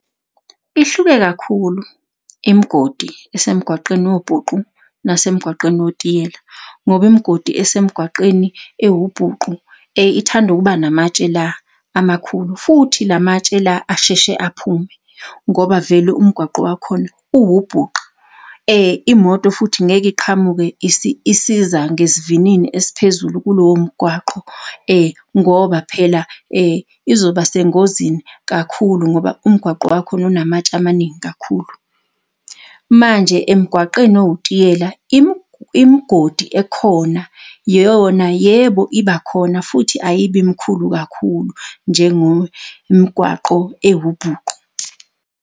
Ihluke kakhulu imgodi esemgwaqeni wobhuqu nasemgwaqeni wetiyela, ngoba imgodi esemgwaqeni ewubhuqu ithanda ukuba namatshe la amakhulu, futhi la matshela la asheshe aphume, ngoba vele umgwaqo wakhona uwubhuqu. Imoto futhi ngeke iqhamuke isiza ngesivinini esiphezulu kulowo mgwaqo ngoba phela izoba sengozini kakhulu, ngoba umgwaqo wakhona unamatshe amaningi kakhulu. Manje emgwaqeni owutiyela, imigodi ekhona yona, yebo, ibakhona futhi ayibi mkhulu kakhulu njengomgwaqo ewubhuqu.